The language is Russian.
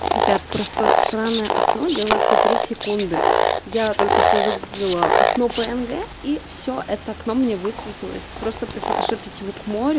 ребят просто сраное окно делается три секунды я только что загуглила окно пнг и все это окно мне высветилось просто прифотошопить его к морю